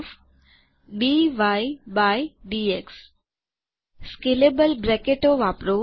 scalable બ્રેકેટો કૌંસમાં આવેલી વસ્તુનાં માપ મુજબ નાના કે મોટા થનારા કૌંસો વાપરો